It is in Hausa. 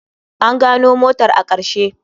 An gano motar a ƙarshe.